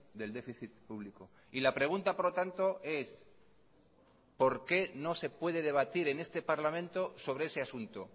del déficit público y la pregunta por lo tanto es por qué no se puede debatir en este parlamento sobre ese asunto